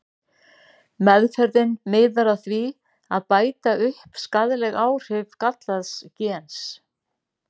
Meðferðin miðar að því að bæta upp skaðleg áhrif gallaðs gens.